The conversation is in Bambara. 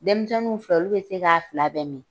Dɛmisɛnninw fɛ olu be se k'a fila bɛ min.